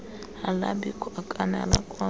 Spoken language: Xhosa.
alabikho okane alakwazi